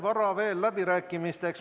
Vara veel läbirääkimisteks.